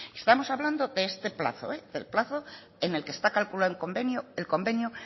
estamos hablando de este plazo del plazo en el que está calculado el convenio el convenio